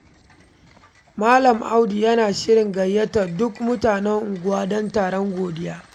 Malam Audu yana shirin gayyatar duk mutanen unguwa don taron godiya.